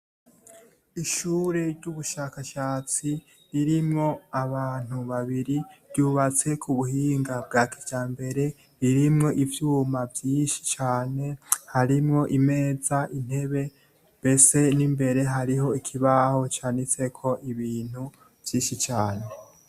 Ishure ry'ubushakashatsi ririmwo abantu babiri ryubatse ku buhinga bwa kiya mbere ririmwo ivyuma vyinshi cane harimwo imeza intebe mbese n'imbere hariho ikibaho canitseko ibintu vyinshi cane.